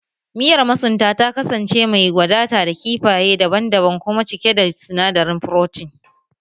Miyar masunta ta kasance mai wadata da kifaye daban-daban kuma cike da sinadarin furotin